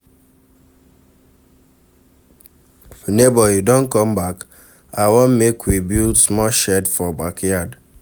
Nebor you don come back? I want make we build small shed for backyard.